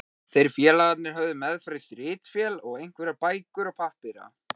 Þeir félagar höfðu meðferðis ritvél og einhverjar bækur og pappíra.